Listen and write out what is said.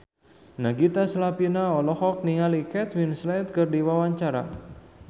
Nagita Slavina olohok ningali Kate Winslet keur diwawancara